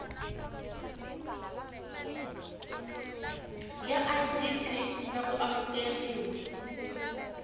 ya idp na ku amukeriwa